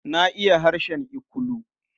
Na iya harshen Ikulu.